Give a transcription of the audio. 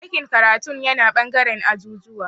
Dakin karatun yana ɓangaren ajujuwa